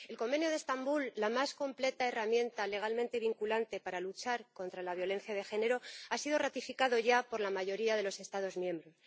El Convenio de Estambul, la más completa herramienta legalmente vinculante para luchar contra la violencia de género, ha sido ratificado ya por la mayoría de los Estados miembros.